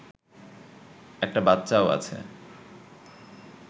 একটা বাচ্চাও আছে